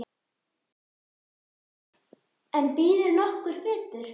En býður nokkur betur?